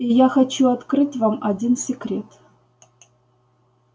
и я хочу открыть вам один секрет